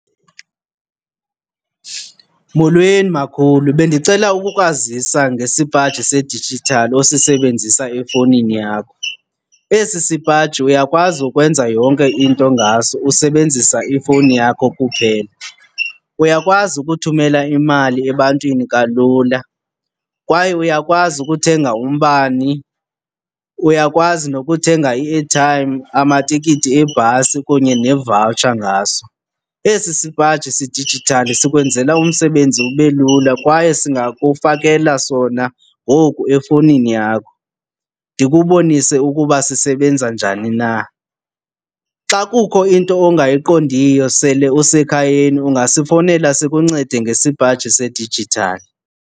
Molweni, makhulu. Bendicela ukukwazisa ngesipaji sedijithali osisebenzisa efowunini yakho. Esi sipaji uyakwazi ukwenza yonke into ngaso usebenzisa ifowuni yakho kuphela. Uyakwazi ukuthumela imali ebantwini kalula, kwaye uyakwazi ukuthenga umbane, uyakwazi nokuthenga i-airtime, amatikiti ebhasi kunye ne-voucher ngaso. Esi sipaji sedijithali sikwenzela umsebenzi ube lula kwaye singakufakela sona ngoku efowunini yakho, ndikubonise ukuba sisebenza njani na. Xa kukho into ongayiqondiyo sele usekhayeni ungasifowunela sikuncede ngesipaji sedijithali.